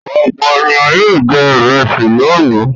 Òpó èniyàn yóò jẹ ìrẹsì lónìí.